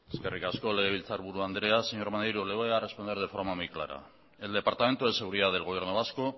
eskerrik asko legebiltzarburu andrea señor maneiro le voy a responder de forma muy clara el departamento de seguridad del gobierno vasco